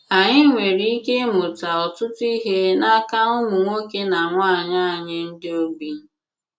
Ànyị̀ nwere ìkè ịmùtà ọ̀tùtù ihe n’aka ùmụ̀ nwoke na nwaanyị ànyị̀ ndị ogbi. ”